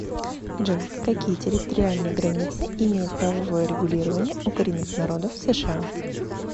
джой какие территориальные границы имеет правовое регулирование у коренных народов сша